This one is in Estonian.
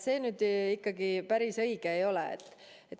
See ikkagi päris õige ei ole.